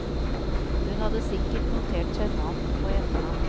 Hun hadde sikkert notert seg navn og etternavn.